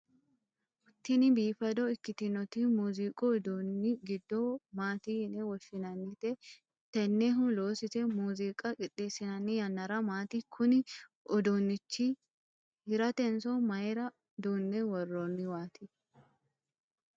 tini biifado ikkitinoti muuziiqu uduunni giddo maati yine woshshinannite? tennehu loosise muuziiqa qixxeessinanni yannara maati? kuni uduunnichi hiratenso mayiira duunne worroonniwaati?